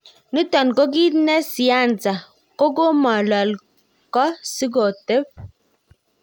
Niton ko kit ne siyansa ko komolol ko si kotep